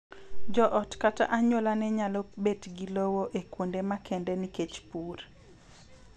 Joot kata anyuola ne nyalo bet gi lowo e kuonde makende nikech pur